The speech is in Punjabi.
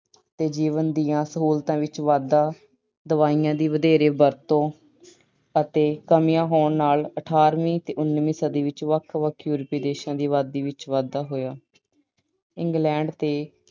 ਤੇ ਜੀਵਨ ਦੀਆਂ ਸਹੂਲਤਾਵਾਂ ਵਿੱਚ ਵਾਧਾ, ਦਵਾਈਆਂ ਦੀ ਵਧੇਰੇ ਵਰਤੋਂ ਅਤੇ ਕਮੀਆਂ ਹੋਣ ਨਾਲ ਅਠਾਰਵੀਂ ਤੇ ਉਨੀਵੀਂ ਸਦੀ ਵਿੱਚ ਵੱਖ-ਵੱਖ European ਦੇਸ਼ਾਂ ਦੀ ਆਬਾਦੀ ਵਿੱਚ ਵਾਧਾ ਹੋਇਆ। England ਤੇ